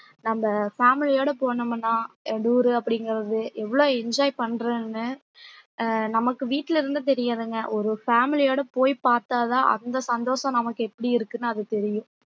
நம்ம family ஓட போனோம்னா tour அப்படிங்கிறது எவ்வளவு enjoy பண்றேன்னு அஹ் நமக்கு வீட்ல இருந்து தெரியாதுங்க ஒரு family யோட போய் பார்த்தாதான் அந்த சந்தோஷம் நமக்கு எப்படி இருக்குன்னு அது தெரியும்